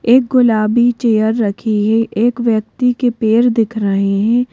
एक गुलाबी चेयर रखी है एक व्यक्ति के पैर दिख रहे है।